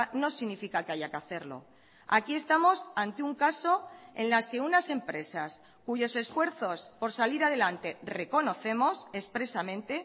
no significa que haya que hacerlo aquí estamos ante un caso en las que unas empresas cuyos esfuerzos por salir adelante reconocemos expresamente